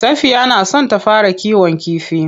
Safiya na son ta fara kiwon kifi.